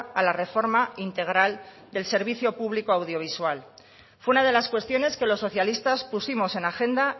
a la reforma integral del servicio público audiovisual fue una de las cuestiones que los socialistas pusimos en agenda